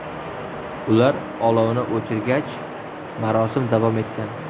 Ular olovni o‘chirgach, marosim davom etgan.